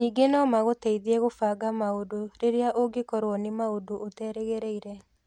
Ningĩ no magũteithie kũbanga maũndũ rĩrĩa ũngĩkorũo nĩ maũndu ũterĩgĩrĩrie.